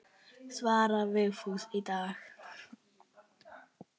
Svarar Vigfús í dag?